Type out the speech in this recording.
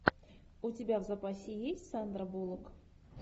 у тебя в запасе есть сандра буллок